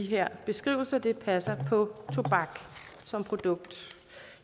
her beskrivelse passer på tobak som produkt